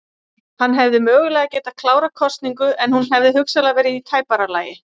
Hann hefði mögulega getað klárað kosningu en hún hefði hugsanlega verið í tæpara lagi.